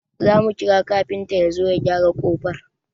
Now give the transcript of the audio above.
Zamu kira kafinta yazo ya gyara kofar